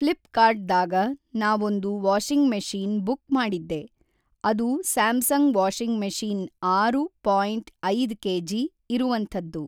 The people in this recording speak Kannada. ಫ್ಲಿಪ್‌ಕಾರ್ಟ್‌ದಾಗ ನಾವೊಂದು ವಾಷಿಂಗ್ ಮೆಷೀನ್ ಬುಕ್ ಮಾಡಿದ್ದೆ ಅದು ಸ್ಯಾಮ್‌ಸಂಗ್ ವಾಷಿಂಗ್ ಮೆಷೀನ ಆರು ಪಾಯಿಂಟ್ ಐದ್ ಕೆ ಜಿ ಇರುವಂಥದ್ದು.